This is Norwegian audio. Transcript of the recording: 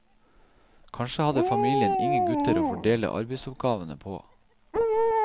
Kanskje hadde familien ingen gutter å fordele arbeidsoppgavene på.